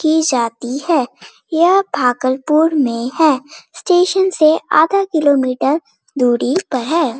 की जाती है यह भागलपुर में है स्टेशन से आधा किलो मीटर दूरी पर है।